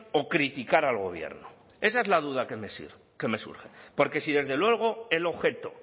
o criticar al gobierno esa es la duda que me surge porque si desde luego el objeto